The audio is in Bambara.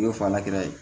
U y'o fa la kura ye